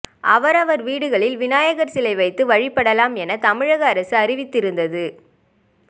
அவரவா் வீடுகளில் விநாயகா் சிலை வைத்து வழிபடலாம் என தமிழக அரசு அறிவித்திருந்தது